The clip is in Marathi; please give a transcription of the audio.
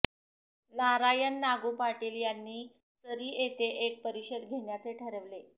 नारायण नागू पाटील यांनी चरी येथे एक परिषद घेण्याचे ठरवले